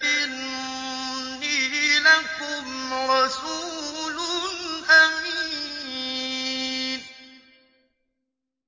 إِنِّي لَكُمْ رَسُولٌ أَمِينٌ